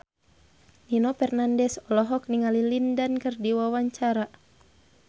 Nino Fernandez olohok ningali Lin Dan keur diwawancara